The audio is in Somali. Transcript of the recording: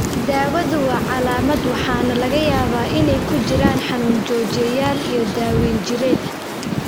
Daawadu waa calaamad waxaana laga yaabaa inay ku jiraan xanuun joojiyeyaal iyo daaweyn jireed.